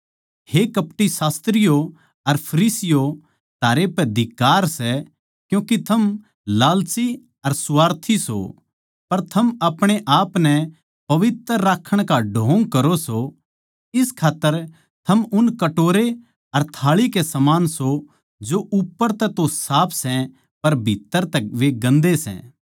हे कपटी शास्त्रियो अर फरीसियों थारै पै धिक्कार सै क्यूँके थम लालची अर स्वार्थी सों पर थम अपणे आपनै पवित्र राक्खण का ढोंग करो सों इस खात्तर थम उन कटोरे अर थाळी के समान सों जो उप्पर तै तो साफ सै पर भित्तर तै वे गन्दे सै